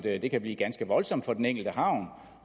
at det kan blive ganske voldsomt for den enkelte havn